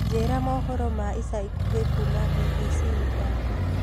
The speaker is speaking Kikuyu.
njĩĩra mohoro ma ĩca ĩkũhĩ kũma b.b.c mithako